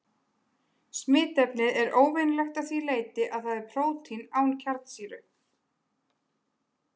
Smitefnið er óvenjulegt að því leyti að það er prótín án kjarnasýru.